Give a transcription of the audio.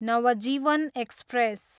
Navjeevan express